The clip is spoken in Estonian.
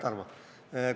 Aitäh, Tarmo!